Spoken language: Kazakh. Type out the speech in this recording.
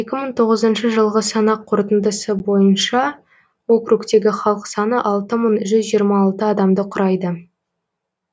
екі мың тоғызыншы жылғы санақ қорытындысы бойынша округтегі халық саны алты мың жүзжиырма алты адамды құрайды